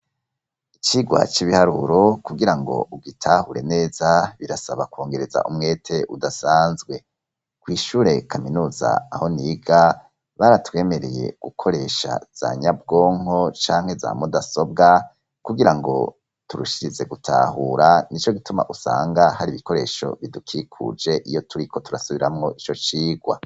icigwa c'ibiharuro kugira ngo ugitahure neza birasaba kwongereza umwete udasanzwe ku ishure, kaminuza aho niga baratwemereye gukoresha za nyabwonko canke za mudasobwa kugira ngo turushize gutahura, nico gituma usanga hari ibikoresho bidukikuje iyo turiko turasubiramwo ico cigwa.